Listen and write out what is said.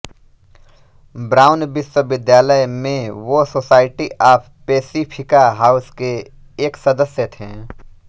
brown विश्वविद्यालय मे वो सोसायटी ऑफ पेसिफ़िका हाउस के एक सदस्य थे